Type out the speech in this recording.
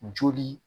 Joli